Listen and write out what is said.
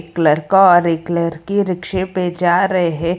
एक लड़का और एक लड़की रिक्से पे जा रहे हैं।